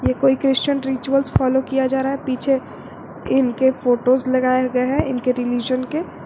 ये कोई Christian rituals follow किया जा रहा है पीछे इनके फोटोस लगाया गए हैं इनके रिलिजन के।